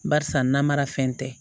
Barisa namara fɛn tɛ